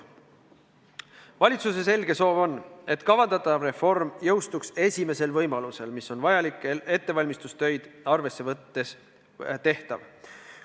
Valitsuse selge soov on, et kavandatav reform jõustuks esimesel võimalusel, mis on vajalikke ettevalmistustöid arvesse võttes tehtav.